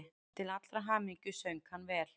Til allrar hamingju söng hann vel!